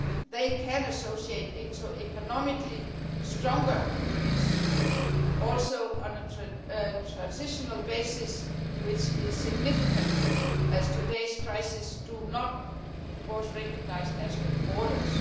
They can associate into economically stronger units also on a transitional basis, which is significant, as today's crises do not recognise national borders.